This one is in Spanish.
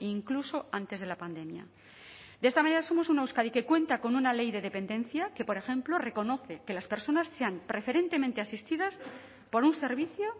incluso antes de la pandemia de esta manera somos una euskadi que cuenta con una ley de dependencia que por ejemplo reconoce que las personas sean preferentemente asistidas por un servicio